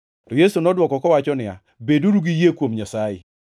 To Yesu nodwoko kowacho niya, “Beduru gi yie kuom Nyasaye.